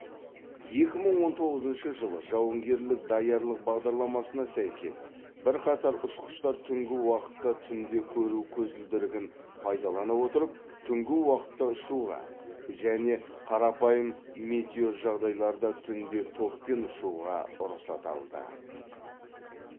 екі мың он тоғызыншы жылы жауынгерлік даярлық бағдарламасына сәйкес бірқатар ұшқыштар түнгі уақытта түнде көру көзілдірігін пайдалана отырып түнгі уақытта ұшуға және қарапайым метеожағдайларда түнде топпен ұшуға рұқсат алды